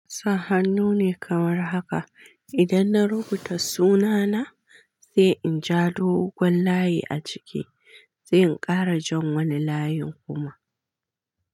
Sa hannu ne kamar haka. Idan na rubuta sunana, sai in ja doguwar layi a ciki, sai in ƙara jan wani layin kuma.